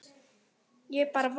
Ég bara varð.